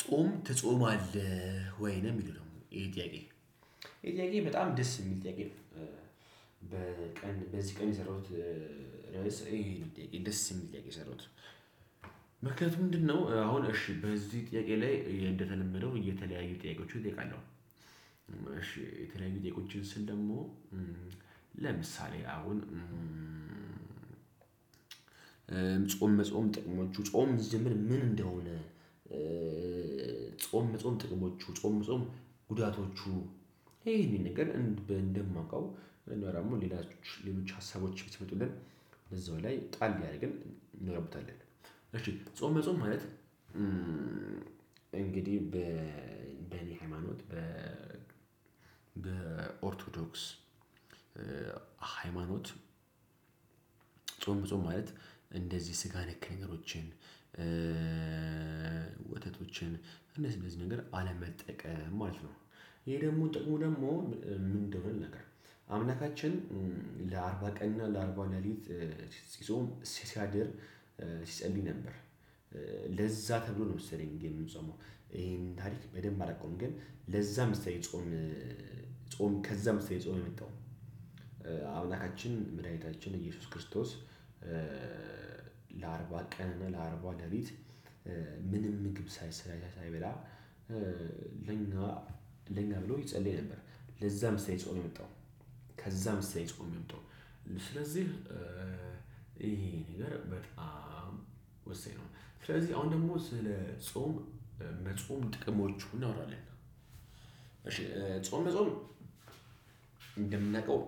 ጾም ትጾማለህ ወይን ነው ሚለው ይሄ ጥያቄ ይሄ ጥያቄ በጣም ደስ የሚል ጥያቄ ነው። በቀን በዚህ ቀን የሰራሁት ርዕስ የሚል ጥያቄ የሰራሁት ምክንያቱም ምንድነው አሁን እሺ በዚህ ጥያቄ ላይ እንደተለመደው የተለያዩ ጥያቄዎች እጠይቃለሁ። እሺ ስል ደግሞ ለምሳሌ አሁን ጾም መጾም ጥቅሞቹ ጾም ስትጀምር ምን እንደሆነ? ጾም ጾም ጥቅሞቹ ጾም ጾም ጉዳቶቹ። ይሄ እኔ ነገር እንደማውቀው እኔ ወይ ደግሞ ሌሎዎች ሌሎች ሀሳቦች ብትመጡልን። እዛው ላይ ጣል ቢያደርግም እንረብታለን። ጾም በጾም ማለት እንግዲህ በ በኔ ሃይማኖት በ በ ኦርቶዶክስ ሃይማኖት ጾም ጾም ማለት እንደዚህ ስጋ ነክ ነገሮችን ወተቶችን እነዚህ እነዚህ ነገር አለመጠቀም ማለት ነው። ይሄ ደግሞ ጥሩ ደግሞ ምን እንደሆነ ነገር አምላካችን ለአርባ ቀን እና ለአርባ ሌሊት ሲጾም ሲያድር ሲጸድይ ነበር። ለዛ ተብሎ ነው መሰለኝ እንዲ የምንጾማው ይሄን ታሪክ በደንብ አላውቀውም። ግን ለዛ መሰለኝ ጾም ጾም ከዛ መሰለኝ ጾም የመጣው አምላካችን ምድሃኒታችን ኢየሱስ ክርስቶስ። ለአርባ ቀን ለአርባ ለሊት ምንም ምግብ ሳይሰራ ሳይበላ። ለኛ ለኛ ብሎ ይጸልይ ነበር። ለዛ መሰለኝ ጾም የመጣው ከዛም መሰለኝ ጾም የመጣው ስለዚህ ይሄ ነገር በጣም ወሳኝ ነው። ስለዚህ አሁን ደግሞ ስለ ጾም መጾም ጥቅሞቹ እናውራለን እሺ ጾም መጾም እንደምነቀው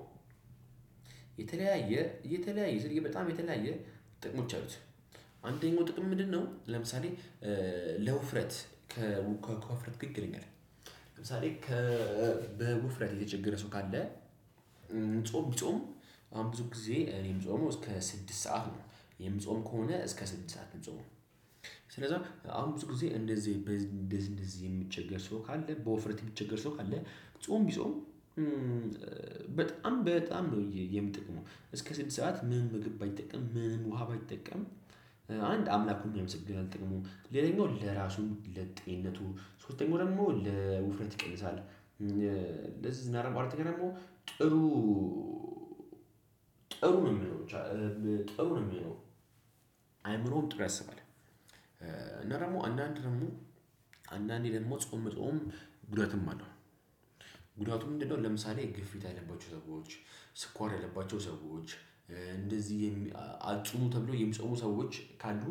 የተለያየ የተለያየ ስል በጣም የተለያየ ጥቅሞች አሉት። አንደኛው ጥቅም ምንድነው? ለምሳሌ ለውፍረት ከውፍረት ይከለክላል። ለምሳሌ በውፍረት የተቸገረ ሰው ካለ ጾም ቢጾም አሁን ብዙ ጊዜ እኔም ጾመው እስከ ስድስት ሰዓት ነው የምጾም ከሆነ እስከ ስድስት ሰዓት ነው ምጾመው። ስለዚህ አሁን ብዙ ጊዜ እንደዚህ እንደዚህ የሚቸገር ሰው ካለ በወፍረት የሚቸገር ሰው ካለ ጾም ቢጾም። በጣም በጣም ነው የሚጠቅመው እስከ ስድስት ሰዓት ምን ምግብ ባይጠቀም ምን ውሃ ባይጠቀም። አንድ አምላኩን ያመሰግናል ጥቅሙ ሌላኛው ለራሱ ለጤንነቱ ሶስተኛው ደግሞ ለውፍረት ይቀልሳል እንደዚህ አራተኛ ደግሞ ጥሩ። ጥሩ ነው የሚለው ጥሩ ነው የሚለው አይምሮም ጥሩ ያስባል። እና ደግሞ አንዳንድ ደግሞ አንዳንዴ ደግሞ ጾም መጾም ጉዳትም አለው። ጉዳቱ ምንድነው? ለምሳሌ ግፊት ያለባቸው ሰዎች ስኳር ያለባቸው ሰዎች። እንደዚህ አትጹሙ ተብሎ የሚጾሙ ሰዎች ካሉ።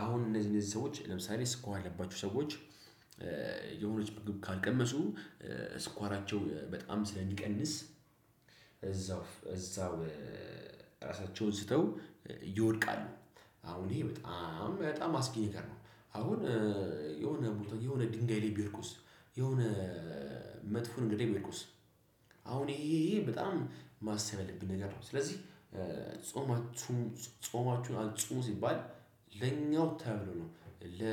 አሁን እነዚህ እነዚህ ሰዎች ለምሳሌ ስኳር ያለባቸው ሰዎች የሆነች ምግብ ካልቀመሱ ስኳራቸው በጣም ስለሚቀንስ እዛው እዛው ራሳቸውን ስተው ይወደቃሉ። አሁን ይሄ በጣም በጣም አስጊ ነገር ነው። አሁን የሆነ የሆነ ድንጋይ ላይ ቢወድቁስ? የሆነ መጥፎ ነገር ላይ ቢወድቁስ? አሁን ይሄ ይሄ በጣም ማሰብ ያለብን ነገር ነው ስለዚህ። ጾማችሁን አጽሙ ሲባል ለኛው ተብሎ ነው ለ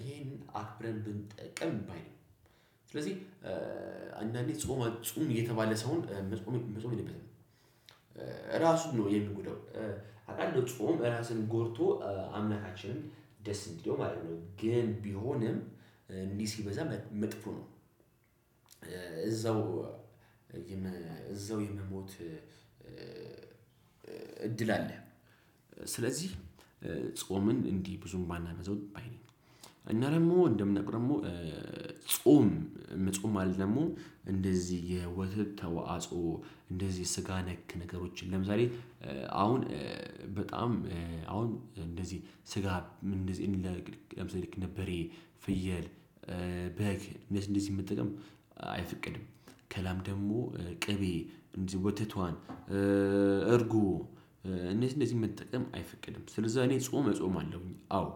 ይሄን አክብረን ብንጠቅም ባይልም። ስለዚህ አንዳንዴ ጾም አጹም እየተባለ ሰውን መጾም የለበትም። ራሱን ነው የሚጎዳው። አቃለው ጾም ራሱን ጎድቶ አምላካችንን ደስ እንዲለው ማድረግ ነው ግን ቢሆንም እንዲህ ሲበዛ መጥፎ ነው። እዛው እዛው የመሞት እድል አለ። ስለዚህ ጾምን እንዲህ ብዙም ባናበዛው ባይ ነኝ። እና ደግሞ እንደምናቀው ጾም መጾም እንደዚህ የወተት ተዋጽኦ እንደዚህ ስጋ ነክ ነገሮችን ለምሳሌ አሁን በጣም አሁን እንደዚህ ስጋ እንደዚህ ለምሳሌ ልክ በሬ ፍየል በግ እንደዚህ መጠቀም አይፈቅድም። ከላም ደግሞ ቅቤ እንደዚህ ወተቷን እርጉ እነዚህን መጠቀም አይፈቀድም። ስለዛ እኔ ጾም እጾማለሁኝ አዎ።